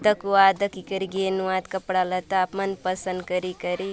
दखुआत दखी करी घेनुआत कपड़ा लत्ता मनपसंद करी-करी।